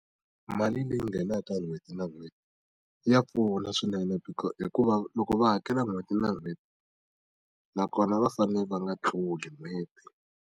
Mali leyi nghenaka ta n'hweti na n'hweti, ya pfuna swinene hikuva loko va hakela n'hweti na n'hweti nakona va fanele va nga tluli n'hweti.